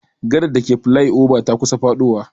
Gadar dake flai oba ta kusa faɗowa.